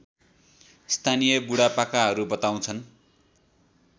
स्थानीय बुढापाकाहरू बताउँछन्